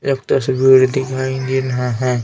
एक तस्वीर दिखाई दे रहा है.